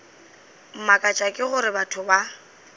mmakatša ke gore batho ba